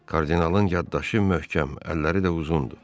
Kardinalın yaddaşı möhkəm, əlləri də uzundur.